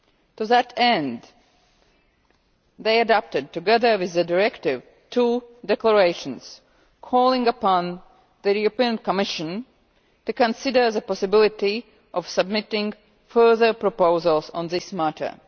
To that end they adopted, together with the directive, two declarations calling upon the Commission to consider the possibility of submitting further proposals on this matter.